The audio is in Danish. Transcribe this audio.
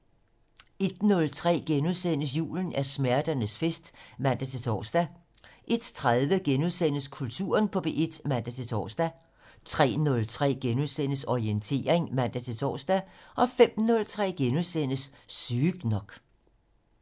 01:03: Julen er smerternes fest *(man-tor) 01:30: Kulturen på P1 *(man-tor) 03:03: Orientering *(man-tor) 05:03: Sygt nok *